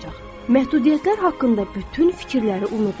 Məhdudiyyətlər haqqında bütün fikirləri unudun.